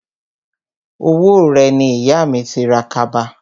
Owó rẹ̀ ni ìyà mi ti ra kaba